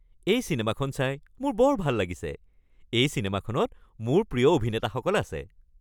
এই চিনেমাখন চাই মোৰ বৰ ভাল লাগিছে। এই চিনেমাখনত মোৰ প্ৰিয় অভিনেতাসকল আছে।